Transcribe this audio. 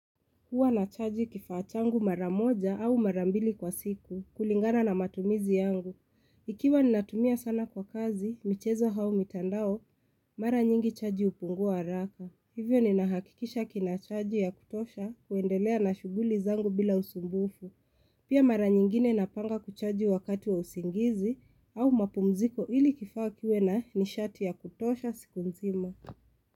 Huwa nachaji kifaa changu mara moja au mara mbili kwa siku kulingana na matumizi yangu. Ikiwa ninatumia sana kwa kazi, michezo au mitandao, mara nyingi chaji hupungua raka. Hivyo ninahakikisha kina chaji ya kutosha kuendelea na shuguli zangu bila usumbufu. Pia mara nyingine napanga kuchaji wakati wa usingizi au mapumziko ili kifaa kiwe na nishati ya kutosha siku mzima.